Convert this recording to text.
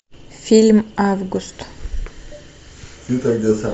фильм август